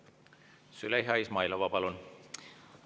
Züleyxa Izmailova, palun!